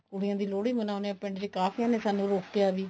ਕੁੜੀਆਂ ਦੀ ਲੋਹੜੀ ਮਨਾਉਂਦੇ ਹੋ ਪਿੰਡ ਚ ਕਾਫੀਆਂ ਨੇ ਸਾਨੂੰ ਰੋਕਿਆ ਵੀ